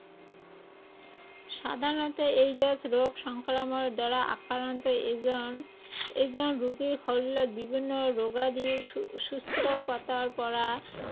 সাধাৰণতে এইড্‌ছ ৰোগ সংক্ৰমণৰ দ্বাৰা আক্ৰান্ত এজন, এজন ৰোগীৰ শৰীৰত বিভিন্ন ৰোগাদিৰ হম সূত্ৰপাতৰ পৰা